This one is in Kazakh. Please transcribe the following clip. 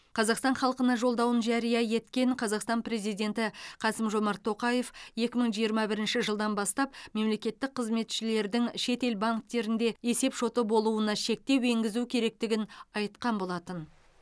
қазақстан халқына жолдауын жария еткен қазақстан президенті қасым жомарт тоқаев екі мың жиырма бірінші жылдан бастап мемлекеттік қызметшілердің шетел банктерінде есепшоты болуына шектеу енгізу керектігін айтқан болатын